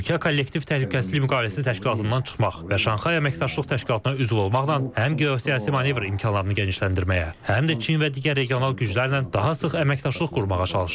Ölkə kollektiv təhlükəsizlik müqaviləsi təşkilatından çıxmaq və Şanxay əməkdaşlıq təşkilatına üzv olmaqla həm geosiyasi manevr imkanlarını genişləndirməyə, həm də Çin və digər regional güclərlə daha sıx əməkdaşlıq qurmağa çalışır.